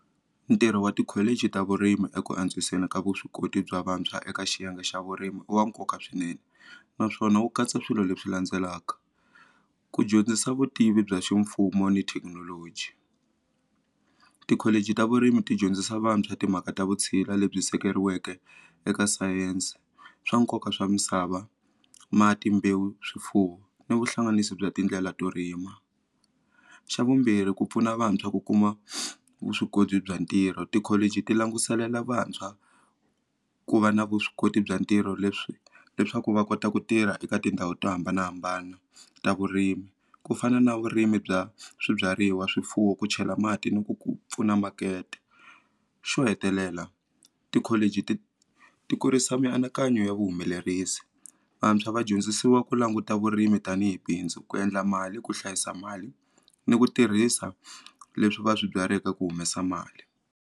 Ntirho wa tikholichi ta vurimi eku antswiseni ka vuswikoti bya vantshwa eka xiyenge xa vurimi i wa nkoka swinene naswona wu katsa swilo leswi landzelaka ku dyondzisa vutivi bya ximfumo ni thekinoloji tikholichi ta vurimi ti dyondzisa vantshwa timhaka ta vutshila lebyi sekeriweke eka science swa nkoka swa misava mati mbewu swifuwo ni vuhlanganisi bya tindlela to rima xa vumbirhi ku pfuna vantshwa ku kuma vuswikoti bya ntirho tikholichi ti languselela vantshwa ku va na vuswikoti bya ntirho leswi leswaku va kota ku tirha eka tindhawu to hambanahambana ta vurimi ku fana na vurimi bya swibyariwa swifuwo ku chela mati ni ku ku pfuna makete xo hetelela tikholichi ti ti kurisa mianakanyo ya vuhumelerisi vantshwa va dyondzisiwa ku languta vurimi tanihi bindzu ku endla mali ku hlayisa mali ni ku tirhisa leswi va swi byaleke ku humesa mali.